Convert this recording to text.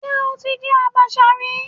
Ṣé o ti jẹ àbàṣà rí?